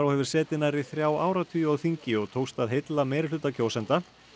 hefur setið nærri þrjá áratugi á þingi og tókst að heilla meirihluta kjósenda